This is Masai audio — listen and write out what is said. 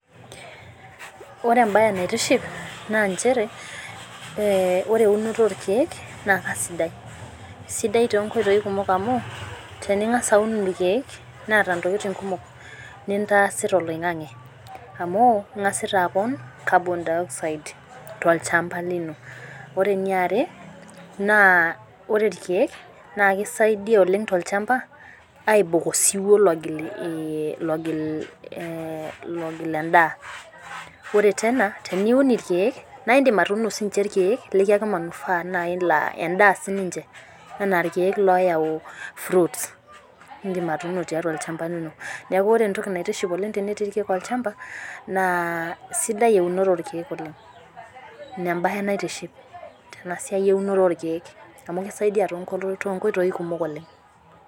Ore embai naitiship naa nchere, ore eunore orkeek naa kisidai .Kisidai toonkoitoi kumok amu, teningas aun irkeek, neeta ntokiting kumok nintaasita oloingange amu ingasita apon carbon dioxide tolchampa lino. Ore eniare naa ore irkeek naa kisaidia tolchampa ainok osiwuo logil endaa ,ore tene ,teniun naa indim atuuno irkeek laa ekiyaki naaji manufaa laa endaa siininche anaa irkeek loyau fruits nindim atuuno tolchampa lino. Neeku ore entoki naitiship oleng tenetii irkeek olchampa naa sidai eunore orkeek oleng. Ina embae naitiship tenasiai eunore orkeek amu ekisaidia toonkoitoi kumok oleng.